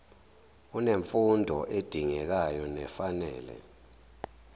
unemfundo edingekayo nefanele